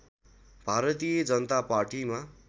भारतीय जनता पार्टीमा